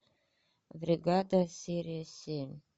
бригада серия семь